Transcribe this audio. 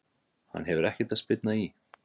Hann hefur ekkert að spyrna í!